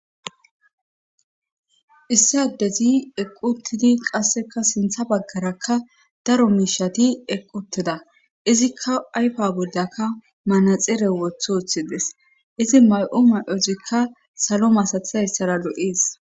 Issadezi eqquttidi qasseka sintha baggarakka daro miishati eqqutida izikka ayfa boldaka manaxere woth ooththides izi may'u may'ozikka salo masatha essara do'ees.